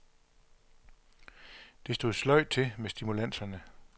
Det stod sløjt til med stimulanserne.